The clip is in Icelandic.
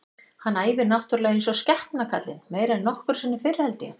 Hann æfir náttúrulega eins og skepna kallinn, meira en nokkru sinni fyrr held ég.